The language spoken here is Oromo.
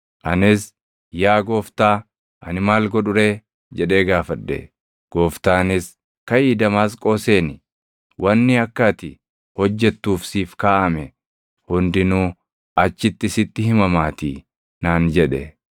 “Anis, ‘Yaa Gooftaa, ani maal godhu ree?’ jedhee gaafadhe. “Gooftaanis, ‘Kaʼii Damaasqoo seeni. Wanni akka ati hojjettuuf siif kaaʼame hundinuu achitti sitti himamaatii’ naan jedhe.